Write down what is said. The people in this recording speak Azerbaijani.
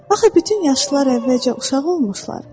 Axı bütün yaşlılar əvvəlcə uşaq olmuşlar.